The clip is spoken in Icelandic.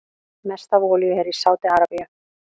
Mest af olíu er í Sádi-Arabíu.